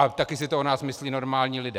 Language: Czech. A taky si to o nás myslí normální lidé.